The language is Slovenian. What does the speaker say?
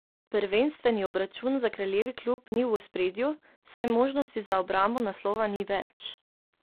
Prvenstvni obračun za kraljevi klub ni v ospredju, saj možnosti za obrambo naslova ni več.